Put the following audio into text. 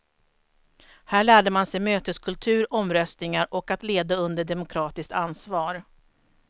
Här lärde man sig möteskultur, omröstningar och att leda under demokratiskt ansvar.